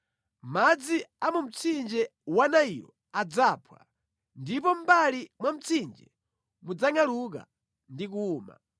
Madzi a mu mtsinje wa Nailo adzaphwa, ndipo mʼmbali mwa mtsinje mudzangʼaluka ndi kuwuma.